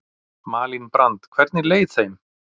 Malín Brand: Hvernig leið þeim?